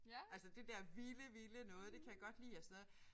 Altså det der vilde vilde noget det kan jeg godt lide og sådan noget